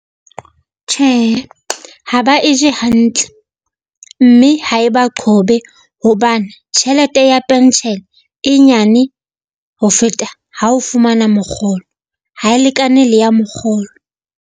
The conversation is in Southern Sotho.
Tjhe, ha ba e je hantle mme ha e ba qhobe, hobane tjhelete ya pentjhele e nyane ho feta ha o fumana mokgolo, ha e lekane le ya mokgolo.